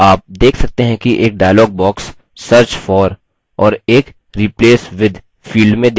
आप देख सकते हैं कि एक डायलॉग बॉक्स search for और एक replace with फील्ड में दिखता है